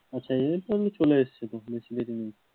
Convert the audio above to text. আচ্ছা সেদিন তো আমি চলে যাচ্ছি,